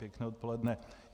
Pěkné odpoledne.